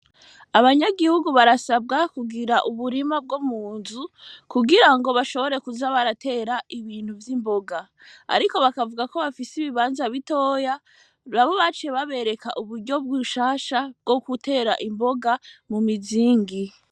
Abanyagihugu barasabwa kugira uburima bwo mu nzu kugira ngo bashobore kuza baratera ibintu vy'imboga, ariko bakavuga ko bafise ibibanza bitoya rabo bace babereka uburyo bw'iushasha bwo gutera imboga mu mizingi.